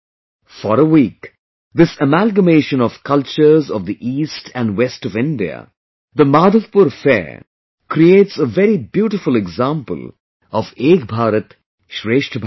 For a week, this amalgamation of cultures of the East and West of India, the Madhavpur fair creates a very beautiful example of Ek Bharat Shrestha Bharat